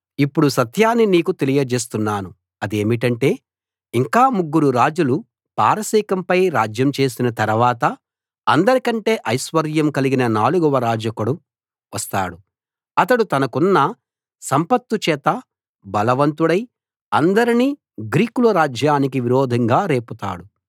ఇప్పుడు సత్యాన్ని నీకు తెలియజేస్తున్నాను అదేమిటంటే ఇంకా ముగ్గురు రాజులు పారసీకంపై రాజ్యం చేసిన తరవాత అందరికంటే ఐశ్వర్యం కలిగిన నాలుగవ రాజొకడు వస్తాడు అతడు తనకున్న సంపత్తు చేత బలవంతుడై అందరినీ గ్రీకుల రాజ్యానికి విరోధంగా రేపుతాడు